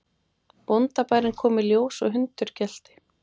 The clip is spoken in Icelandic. Bóndabærinn kom í ljós og hundur gelti.